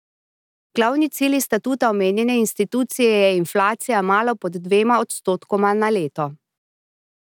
Glavni cilj iz statuta omenjene institucije je inflacija malo pod dvema odstotkoma na leto.